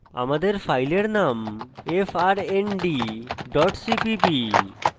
আমাদের file name frndডট cpp